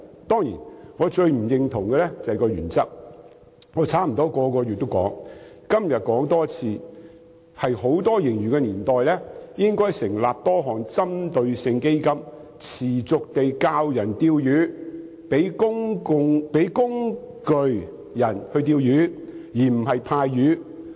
當然，我最不認同的是它的原則，我差不多每個月也說出這點，今天要再說一遍，在盈餘豐厚的年代，政府應該成立多項針對性基金，持續教導市民"釣魚"，提供"釣魚"工具，而不是派發"漁穫"。